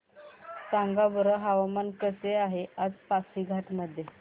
सांगा बरं हवामान कसे आहे आज पासीघाट मध्ये